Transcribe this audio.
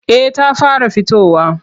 Eh ta fara fitowa.